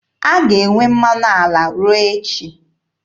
A ga-enwe mmanụ ala ruo echi.